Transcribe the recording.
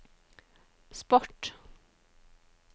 sport